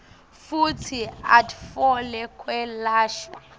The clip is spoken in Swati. futsi atfole kwelashwa